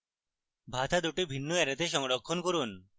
ভাতা দুটি ভিন্ন অ্যারেতে সংরক্ষণ করুন